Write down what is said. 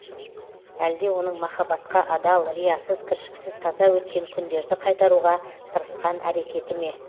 әлде оның махаббатқа адал риясыз кіршіксіз таза өткен күндерді қайтаруға тырысқан әрекеті ме